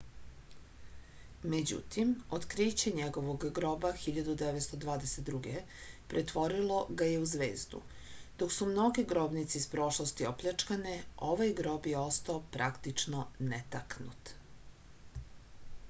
međutim otkriće njegovog groba 1922. pretvorilo ga je u zvezdu dok su mnoge grobnice iz prošlosti opljačkane ovaj grob je ostao praktično netaknut